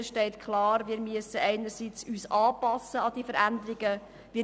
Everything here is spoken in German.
Dort steht klar, dass wir uns einerseits an die Veränderungen anpassen müssen.